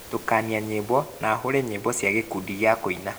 tukania nyimbo na hũũre nyĩmbo cia gĩkundi gĩa kũina